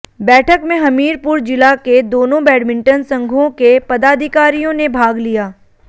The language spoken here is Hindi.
बैठक में हमीरपुर जिला के दोनों बैडमिंटन संघांे के पदाधिकारियांे ने भाग लिया